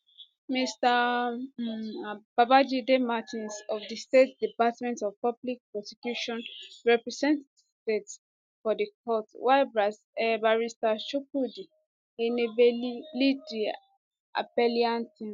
mr um babajide martin of di state department of public prosecution represent di state for di court while barister chukwudi enebeli lead di appellant team